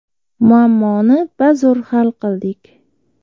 Muammoni bazo‘r hal qildik”.